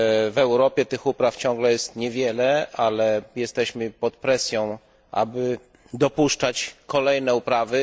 W Europie tych upraw ciągle jest niewiele, ale jesteśmy pod presją, aby dopuszczać kolejne uprawy.